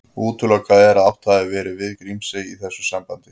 Útilokað er að átt hafi verið við Grímsey í þessu sambandi.